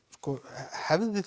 hefði